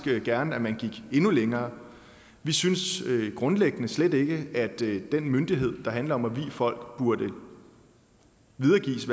gerne at man gik endnu længere vi synes grundlæggende slet ikke at den myndighed der handler om at vie folk burde videregives